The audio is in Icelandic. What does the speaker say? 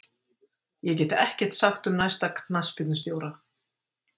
Ég get ekkert sagt um næsta knattspyrnustjóra.